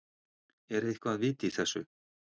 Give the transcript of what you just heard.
Er eitthvað vit í þessu?